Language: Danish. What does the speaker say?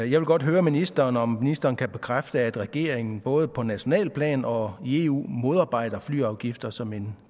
jeg vil godt høre ministeren om ministeren kan bekræfte at regeringen både på nationalt plan og i eu modarbejder flyafgifter som en